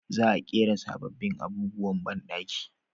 Za a ƙera sabobbin abubuwan banɗaki